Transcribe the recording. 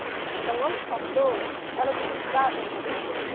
Então, as patroas, elas nos davam muita roupa.